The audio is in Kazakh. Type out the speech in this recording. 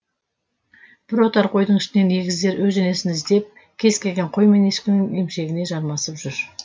бір отар қойдың ішінен егіздер өз енесін іздеп кез келген қой мен ешкінің емшегіне жармасып жүр